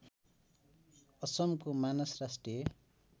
असमको मानस राष्ट्रिय